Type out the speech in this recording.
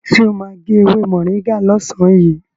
Sọ ma gé ewé mọ̀ríngà lọ́sàn yìí?